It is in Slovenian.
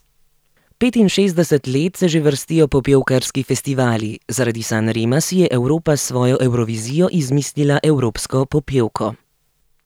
Petinšestdeset let se že vrstijo popevkarski festivali, zaradi San Rema si je Evropa s svojo evrovizijo izmislila evropsko popevko.